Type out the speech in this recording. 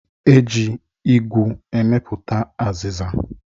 E ji igu emepụta azịza